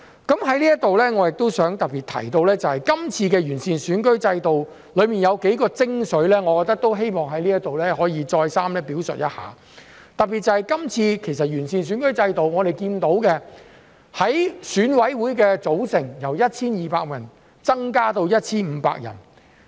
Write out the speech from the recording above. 在這裏我亦想特別提到，這次完善選舉制度中有幾個精髓，我希望在這裏可以再三表述一下，特別是這次完善選舉制度，我們看到選舉委員會的組成由 1,200 人增至 1,500 人。